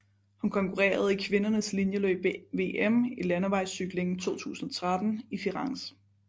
Hun konkurrerede i kvindernes linjeløb ved VM i landevejscykling 2013 i Firenze